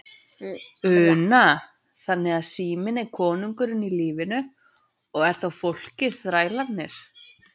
Una: Þannig að síminn er kóngurinn í lífinu og er þá fólkið þrælarnir?